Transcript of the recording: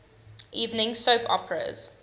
evening soap operas